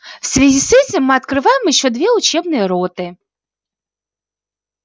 в связи с этим мы открываем ещё две учебные роты